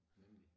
Nemlig